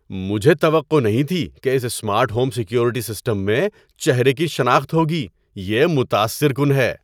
مجھے توقع نہیں تھی کہ اس سمارٹ ہوم سیکیورٹی سسٹم میں چہرے کی شناخت ہوگی۔ یہ متاثر کن ہے!